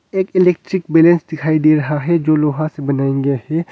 एक electric balance दिखाई दे रहा है जो लोहा से बनाया गया है।